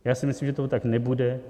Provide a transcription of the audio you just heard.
Já si myslím, že to tak nebude.